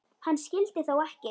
Hann skyldi þó ekki.